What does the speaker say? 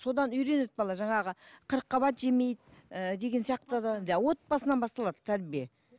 содан үйренеді бала жаңағы қырыққабат жемейді ііі деген сияқтыдан да отбасынан басталады тәрбие